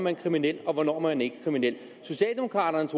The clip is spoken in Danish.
er kriminel og hvornår man ikke er kriminel socialdemokraternes